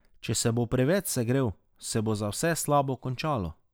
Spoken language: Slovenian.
Če se bo preveč segrel, se bo za vse slabo končalo.